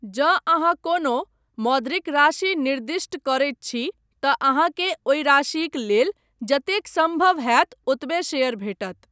जँ अहाँ कोनो मौद्रिक राशि निर्दिष्ट करैत छी तऽ अहाँकेँ ओहि राशिक लेल जतेक सम्भव होयत ओतबे शेयर भेटत।